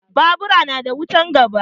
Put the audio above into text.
Babur na da wutan gaba